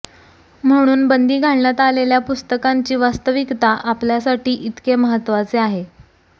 म्हणून बंदी घालण्यात आलेल्या पुस्तकांची वास्तविकता आपल्यासाठी इतके महत्त्वाचे आहे